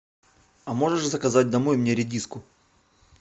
а можешь заказать домой мне редиску